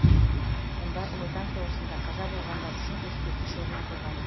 мұнда ұлы отан соғысында қаза болғандар үшін ескерткіш орнатылған